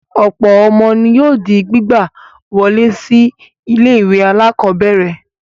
Ọ̀pọ̀ ọmọ ni yóò di gbígbà wọlé sí àwọn ilé-ìwé alákọ̀ọ́bẹ̀rẹ̀.